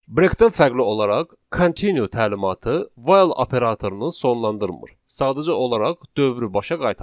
Breakdən fərqli olaraq, continue təlimatı while operatorunu sonlandırmır, sadəcə olaraq dövrü başa qaytarır.